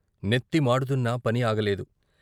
నెత్తి మాడుతున్నా పని ఆగలేదు.